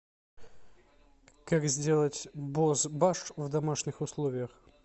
как сделать бозбаш в домашних условиях